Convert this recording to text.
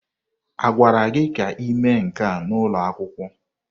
A gwara gị ka ị mee nke a n'ụlọ akwụkwọ?